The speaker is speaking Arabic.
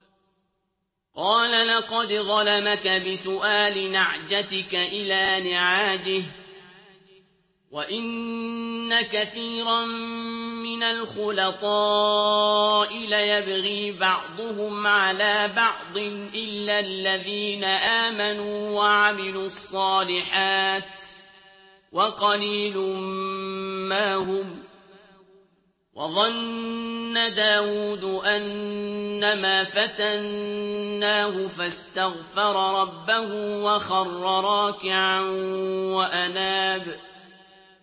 قَالَ لَقَدْ ظَلَمَكَ بِسُؤَالِ نَعْجَتِكَ إِلَىٰ نِعَاجِهِ ۖ وَإِنَّ كَثِيرًا مِّنَ الْخُلَطَاءِ لَيَبْغِي بَعْضُهُمْ عَلَىٰ بَعْضٍ إِلَّا الَّذِينَ آمَنُوا وَعَمِلُوا الصَّالِحَاتِ وَقَلِيلٌ مَّا هُمْ ۗ وَظَنَّ دَاوُودُ أَنَّمَا فَتَنَّاهُ فَاسْتَغْفَرَ رَبَّهُ وَخَرَّ رَاكِعًا وَأَنَابَ ۩